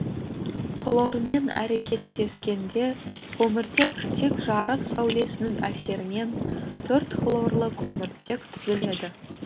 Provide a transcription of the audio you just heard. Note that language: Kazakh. хлормен әрекеттескенде көміртек тек жарық сәулесінің әсерінен төрт хлорлы көміртек түзіледі